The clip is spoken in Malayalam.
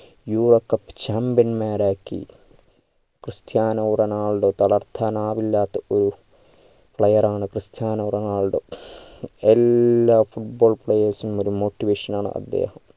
euro cup champion മാരാക്കി ക്രിസ്റ്റ്യാനോ റൊണാൾഡോ തളർത്താനാവില്ലാത ഒരു player ആണ് ക്രിസ്റ്റ്യാനോ റൊണാൾഡോ എല്ലാ football players നും ഒരു motivation ആണ് അദ്ദേഹം